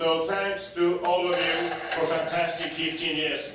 So thanks to all of you for a fantastic 15 years.